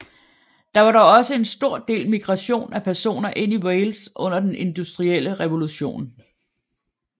Der var dog også en stor del migration af personer ind i Wales under den industrielle revolution